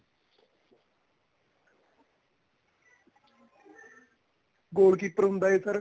goal keeper ਹੁੰਦਾ ਏ sir